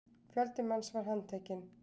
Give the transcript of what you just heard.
Fjöldi manns var handtekinn